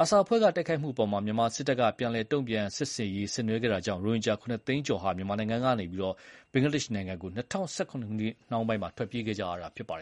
အာဆာအဖွဲ့ က တိုက်ခိုက်တာ ကို မြန်မာစစ်တပ်က ပြန်လည်တုံ့ပြန် စစ်ဆင်ရေးဆင်နွှဲခဲ့တာကြောင့် ရိုဟင်ဂျာ ၇ သိန်းကျော်ဟာ မြန်မာနိုင်ငံကနေ ဘင်္ဂလားဒေ့ရှ် နိုင်ငံကို ၂၀၁၇ နှောင်းပိုင်း မှာ ထွက်ပြေးခဲ့ကြရတာဖြစ်ပါတယ်